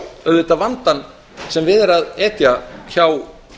auðvitað vandann sem við er að etja hjá